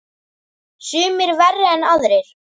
Sumir verri en aðrir.